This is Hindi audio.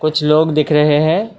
कुछ लोग दिख रहे हैं।